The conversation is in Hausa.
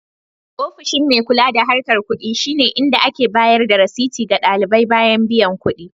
Ofishin Burser shine inda ake bayar da rasidi ga ɗalibai bayan biyan kuɗi.